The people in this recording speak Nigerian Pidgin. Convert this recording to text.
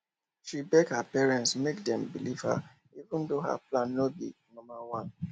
she beg her parents make dem believe am even though her plan no be normal one